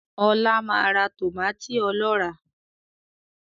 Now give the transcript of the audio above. Ọlá máa ra tòmátì ọlọ́rà